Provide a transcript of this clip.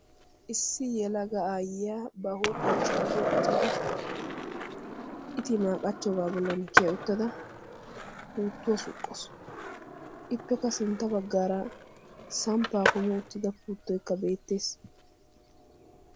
issi yelaga aayiya ba huuphioya qachada itimaa qachoogaa bollan kiya utada puuttuwa suqawusu. ippekka sinta bagaara sampaa kumi utida puuttoy beetees.